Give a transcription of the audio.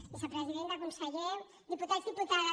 vicepresidenta conseller dipu·tats diputades